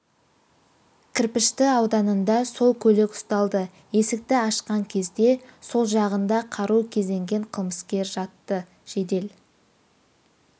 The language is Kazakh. кірпішті ауданында сол көлік ұсталды есікті ашқан кезде сол жағында қару кезенген қылмыскер жатты жедел